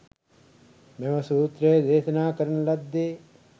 මෙම සූත්‍රය දේශනා කරන ලද්දේ